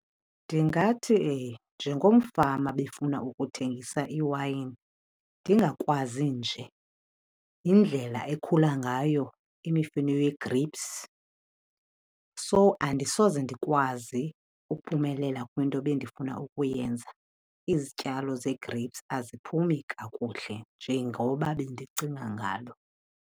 Ndingathi njengomfama obefuna ukuthengisa iiwayini, ndingakwazi nje yindlela ekhula ngayo imifino yee-grapes so andisoze ndikwazi ukuphumelela kwinto ebendifuna ukuyenza. Izityalo zee-grapes aziphumi kakuhle njengoba bendicinga ngalo.